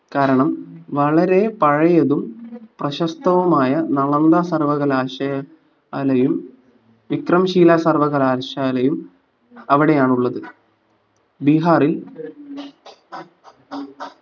കാരണം വളരെ പഴയതും പ്രശസ്തവുമായ നളന്ദ സർവ്വകലാശ ശാലയും വിക്രംഷീല സർവ്വകലാശാലയും അവിടെയാണുള്ളത് ബീഹാറിൽ